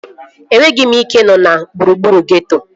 Enweghị m ike ị nọ na gburugburu geeto